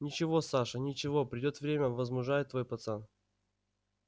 ничего саша ничего придёт время возмужает твой пацан